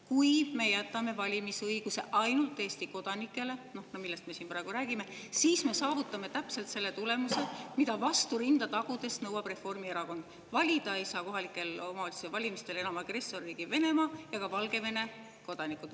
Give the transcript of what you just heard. Kui me jätame valimisõiguse ainult Eesti kodanikele, millest me siin praegu räägime, siis me saavutame täpselt selle tulemuse, mida vastu rinda tagudes nõuab Reformierakond: kohalike omavalitsuste valimistel ei saa enam valida agressorriigi Venemaa ega ka Valgevene kodanikud.